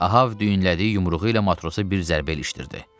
Ahab düyünlədiyi yumruğu ilə matrosa bir zərbə ilişdirdi.